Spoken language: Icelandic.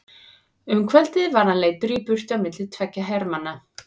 Um kvöldið var hann leiddur í burtu á milli tveggja hermanna.